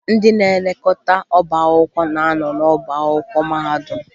Ndị na-elekọta ọbá akwụkwọ na-anọ n'ọbá akwụkwọ mahadum